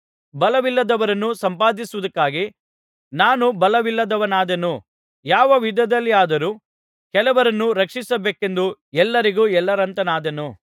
ಬಲವಿಲ್ಲದವರನ್ನು ಸಂಪಾದಿಸುವುದಕ್ಕಾಗಿ ನಾನೂ ಬಲವಿಲ್ಲದವನಾದೆನು ಯಾವ ವಿಧದಲ್ಲಿಯಾದರೂ ಕೆಲವರನ್ನು ರಕ್ಷಿಸಬೇಕೆಂದು ಎಲ್ಲರಿಗೂ ಎಲ್ಲರಂತಾದೆನು